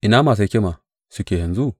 Ina masu hikima suke yanzu?